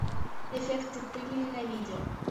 эффекты пыли на видео